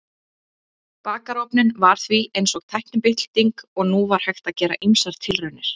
Bakarofninn var því eins og tæknibylting og nú var hægt að gera ýmsar tilraunir.